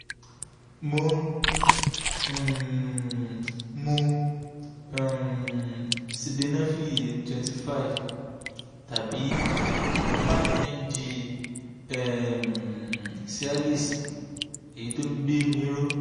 mo ń um mu um sildenafil twenty five tàbí five mg um cialis èyí tó ń gbé mi ró